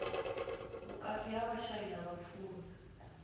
vhukati ha vhashai na vhapfumi